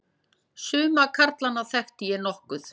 Suma karlana þekkti ég nokkuð.